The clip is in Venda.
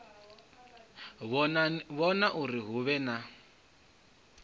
vhona uri hu vhe na